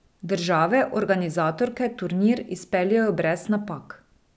Države organizatorke turnir izpeljejo brez napak.